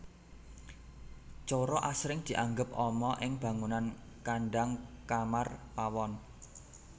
Coro asring dianggep ama ing bangunan kandhang kamar pawon